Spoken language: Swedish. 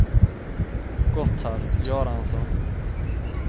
Gotthard Göransson